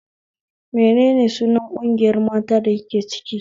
Menene sunan ƙungiyar mata da kike ciki?